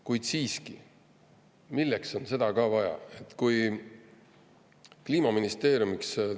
Kuid siiski, milleks on seda ka vaja?